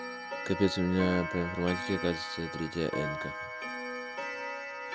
капец у меня по информатике оказывается третья нка